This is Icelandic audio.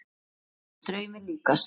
Allt var þetta draumi líkast.